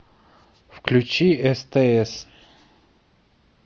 включи стс